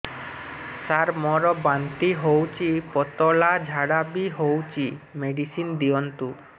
ସାର ମୋର ବାନ୍ତି ହଉଚି ପତଲା ଝାଡା ବି ହଉଚି ମେଡିସିନ ଦିଅନ୍ତୁ